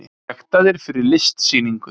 Sektaðir fyrir listsýningu